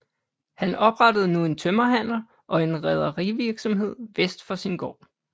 Han oprettede nu en tømmerhandel og en rederivirksomhed vest for sin gård